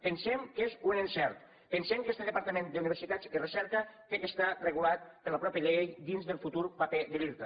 pensem que és un encert pensem que este departament d’universitats i recerca ha d’estar regulat per la mateixa llei dins del futur paper de l’irta